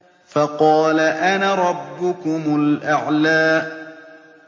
فَقَالَ أَنَا رَبُّكُمُ الْأَعْلَىٰ